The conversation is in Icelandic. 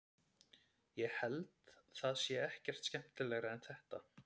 ég held það sé ekkert skemmtilegra en þetta